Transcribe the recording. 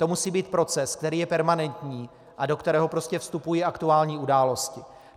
To musí být proces, který je permanentní a do kterého prostě vstupují aktuální události.